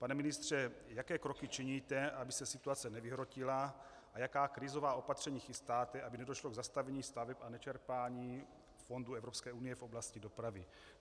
Pane ministře, jaké kroky činíte, aby se situace nevyhrotila, a jaká krizová opatření chystáte, aby nedošlo k zastavení staveb a nečerpání fondů Evropské unie v oblasti dopravy?